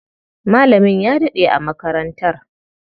Malamin ya daɗe a makarantar.